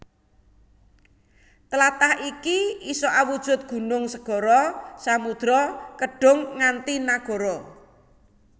Tlatah iki isa awujud gunung segara samudra kedhung nganti nagara